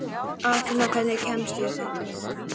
Aþena, hvernig kemst ég þangað?